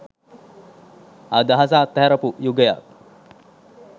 අදහස අත්හැරපු යුගයක්.